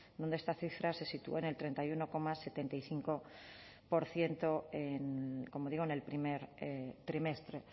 donde esta cifra se sitúa en el treinta y uno coma setenta y cinco por ciento como digo en el primer trimestre